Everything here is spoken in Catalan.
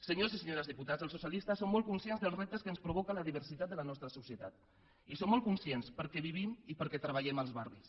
senyors i senyores diputats els socialistes som molt conscients dels reptes que ens provoca la diversitat de la nostra societat i en som molt conscients perquè vivim i perquè treballem als barris